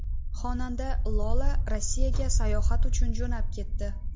Xonanda Lola Rossiyaga sayohat uchun jo‘nab ketdi.